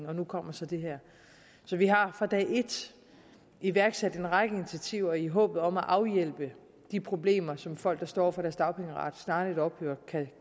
og nu kommer så det her så vi har fra dag et iværksat en række initiativer i håbet om at afhjælpe de problemer som folk der står over for at deres dagpengeret snarlig ophører